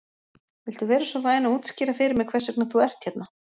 Viltu vera svo væn að útskýra fyrir mér hvers vegna þú ert hérna?